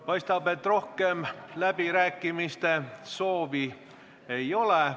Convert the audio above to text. Paistab, et rohkem läbirääkimiste soovi ei ole.